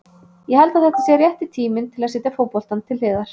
Ég held að þetta sé rétti tíminn til að setja fótboltann til hliðar.